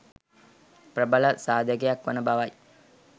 ප්‍රබල සාධකයක් වන බව යි.